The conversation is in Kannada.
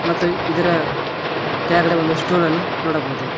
ಮತ್ತು ಇದರ ತ್ಯಾಳಗಡೆ ಒಂದು ಸ್ಟೂಲನ್ನು ನೋಡಬಹುದು.